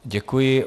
Děkuji.